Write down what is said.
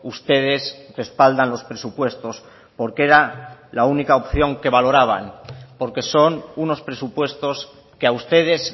ustedes respaldan los presupuestos porque era la única opción que valoraban porque son unos presupuestos que a ustedes